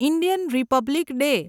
Indian republic day